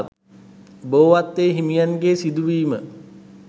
බෝවත්තේ හිමියන්ගේ සිදුවීම